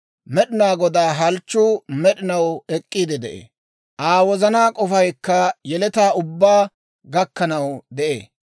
Med'inaa Godaa halchchuu med'inaw ek'k'iide de'ee; Aa wozanaa k'ofaykka yeletaa ubbaa gakkanaw de'ee.